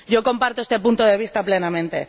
Yo comparto este punto de vista plenamente.